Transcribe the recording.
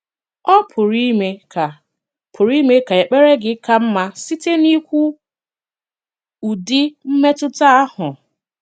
Ọ̀ pụrụ ime ka pụrụ ime ka èkpèrè gị ka mma site n’íkwu ụdị̀ mmetụta ahụ?